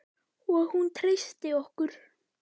Og hún treysti okkur.